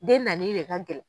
Den nani de ka gɛlɛn.